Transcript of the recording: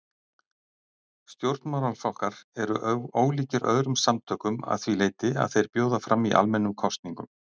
Stjórnmálaflokkar eru ólíkir öðrum samtökum að því leyti að þeir bjóða fram í almennum kosningum.